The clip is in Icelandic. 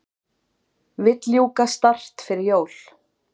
Vill ljúka START fyrir jól